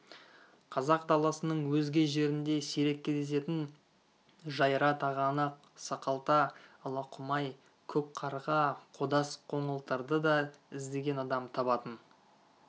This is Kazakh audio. қазақ даласының өзге жерінде сирек кездесетін жайра тағанақ сақалта алақұмай көк қарға қодас қоңылтырды да іздеген адам табатын